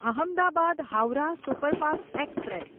Ahmedabad Howrah superfast express